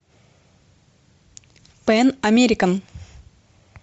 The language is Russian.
пэн американ